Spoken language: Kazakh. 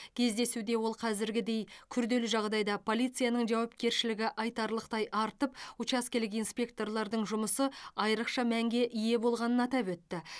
кездесуде ол қазіргідей күрделі жағдайда полицияның жауапкершілігі айтарлықтай артып учаскелік инспекторлардың жұмысы айырықша мәнге ие болғанын атап өтті